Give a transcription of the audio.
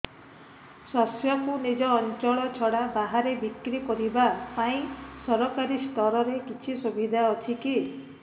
ଶସ୍ୟକୁ ନିଜ ଅଞ୍ଚଳ ଛଡା ବାହାରେ ବିକ୍ରି କରିବା ପାଇଁ ସରକାରୀ ସ୍ତରରେ କିଛି ସୁବିଧା ଅଛି କି